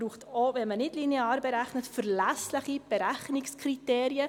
Auch wenn man nicht linear berechnet, braucht man verlässliche Berechnungskriterien.